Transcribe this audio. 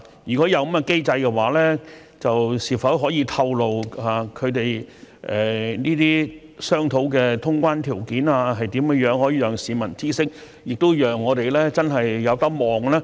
如果有這個機制，是否可以透露他們商討的通關條件為何？可以讓市民知悉，亦讓我們真的可以盼望。